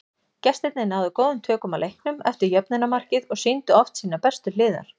Gestirnir náðu góðum tökum á leiknum eftir jöfnunarmarkið og sýndu oft sínar bestu hliðar.